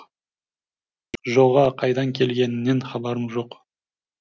жоға қайдан келгенінен хабарым жоқ